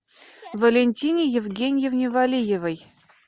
валентине евгеньевне валиевой